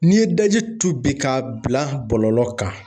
N'i ye daji tu bi k'a bila bɔlɔlɔ kan